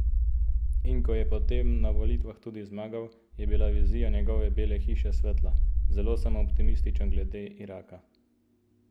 In ko je potem na volitvah tudi zmagal, je bila vizija njegove Bele hiše svetla: "Zelo sem optimističen glede Iraka.